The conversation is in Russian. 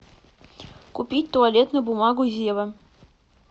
купи туалетную бумагу зева